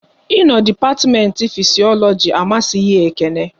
Ị no dipatiment Fisiologi amasịghi Ekene